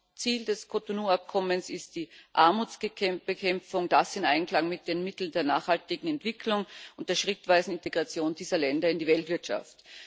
Hauptziel des Cotonou-Abkommens ist die Armutsbekämpfung, das in Einklang mit den Mitteln der nachhaltigen Entwicklung und der schrittweisen Integration dieser Länder in die Weltwirtschaft.